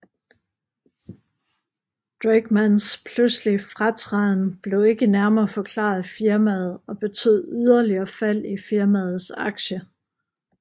Drakemans pludselige fratræden blev ikke nærmere forklaret af firmaet og betød yderligere fald i firmaets aktie